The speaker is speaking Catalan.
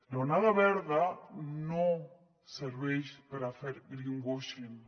l’onada verda no serveix per fer greenwashing